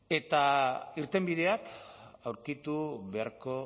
eta irtenbideak aurkitu beharko